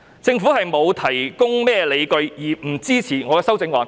政府沒有提供任何理據而不支持我的修正案。